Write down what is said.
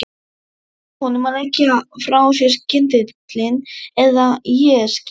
Segðu honum að leggja frá sér kyndilinn eða ég skýt.